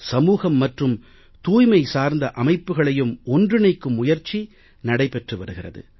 சமூகம் மற்றும் தூய்மை சார்ந்த அமைப்புக்களையும் ஒன்றிணைக்கும் முயற்சி நடைபெற்று வருகிறது